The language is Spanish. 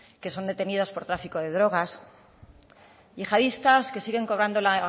que son detenidos por tráfico de drogas yihadistas que siguen cobrando la